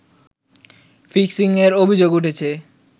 ফিক্সিং-এর অভিযোগ উঠেছে